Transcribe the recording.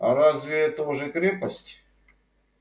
а разве это уже крепость